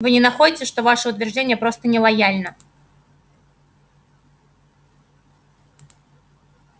вы не находите что ваше утверждение просто нелояльно